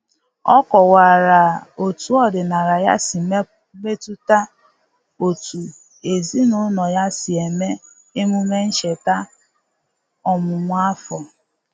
O kọwara otu ọdịnala ya si metụta otú ezinụlọ ya si eme emume ncheta ọmụmụ afọ.